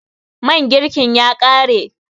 man girkin ya kare?